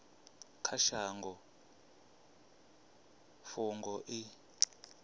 kha shango i fhungo i